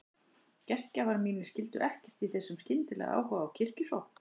Gestgjafar mínir skildu ekkert í þessum skyndilega áhuga á kirkjusókn.